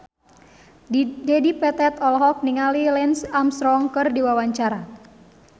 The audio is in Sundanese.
Dedi Petet olohok ningali Lance Armstrong keur diwawancara